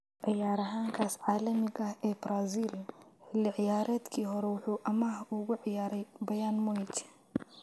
Ciyaaryahankaas caalamiga ah ee Brazil, xilli ciyaareedkii hore wuxuu amaah ugu ciyaaray Bayern Munich.